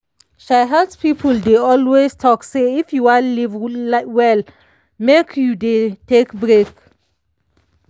um health people dey always talk say if you wan live well make you dey take break